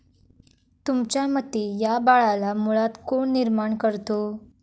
तुमच्या मते, या बाळाला मुळात कोण निर्माण करतो?